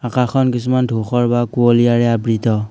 আকাশখন কিছুমান ধুখৰ বা কুঁৱলীয়াৰে আবৃত।